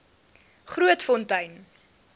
grootfontein